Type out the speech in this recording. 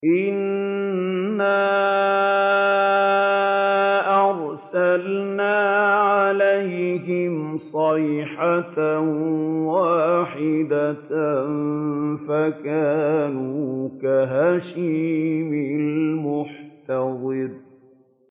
إِنَّا أَرْسَلْنَا عَلَيْهِمْ صَيْحَةً وَاحِدَةً فَكَانُوا كَهَشِيمِ الْمُحْتَظِرِ